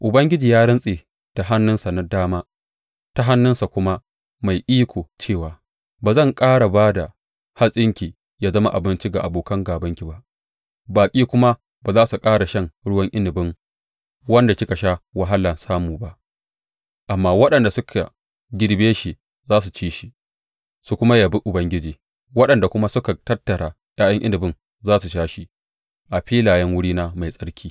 Ubangiji ya rantse da hannunsa na dama ta hannunsa kuma mai iko cewa, Ba zan ƙara ba da hatsinki ya zama abinci ga abokan gābanki ba, baƙi kuma ba za su ƙara shan ruwan inabin wanda kika sha wahala samu ba; amma waɗanda suka girbe shi za su ci shi su kuma yabi Ubangiji, waɗanda kuma suka tattara ’ya’yan inabi za su sha shi a filayen wurina mai tsarki.